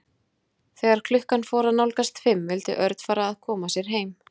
Þegar klukkan fór að nálgast fimm vildi Örn fara að koma sér heim.